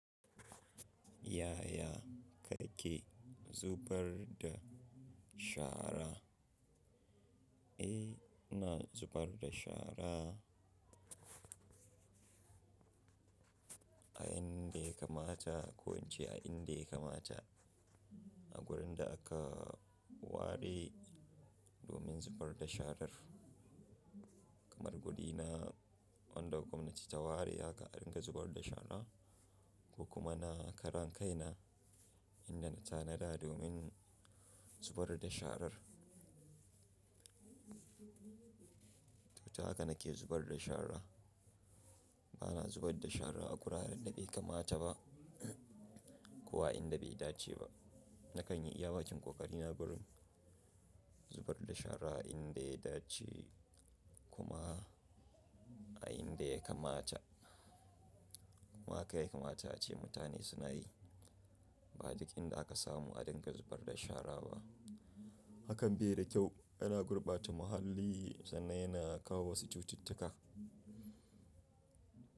Yaya kake zubar da shara? Eh, ina zubar da shara a inda ya kamata ko in ce a inda ya kamata. A gurin da aka ware domin zubar da sharar, kamar guri na, wanda gwamnati ta ware haka, a dinga zubar da shara ko kuma na karan kaina inda na tanada domin zubar da sharar. To, ta haka nake zubar da shara. Bana zubar da shara a guraren da bai kamata ba ko a inda bai dace ba. Na kan yi iya bakin ƙoƙari na gurin zubar da shara inda ya dace kuma a inda ya kamata. Kuma haka ya kamata ace mutane suna yi. Ba duk inda aka samu a dinga zubar da shara ba. Hakan bai da kyau, yana gurɓata muhalli sannan yana kawo wasu cututtuka.